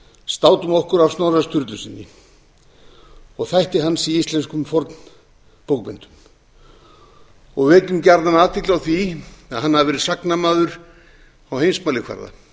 státum okkur af snorra sturlusyni og þætti hans í íslenskum fornbókmenntum og vekjum gjarnan athygli á því að hann hafi verið sagnamaður á heimsmælikvarða